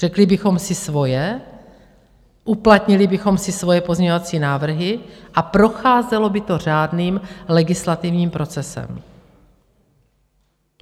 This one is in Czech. Řekli bychom si svoje, uplatnili bychom si svoje pozměňovací návrhy a procházelo by to řádným legislativním procesem.